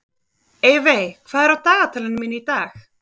Eyveig, hvað er á dagatalinu mínu í dag?